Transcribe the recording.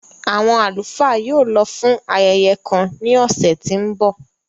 Awọn alufaa yóò lọ fun ayẹyẹ kan ni ọsẹ ti n bọ.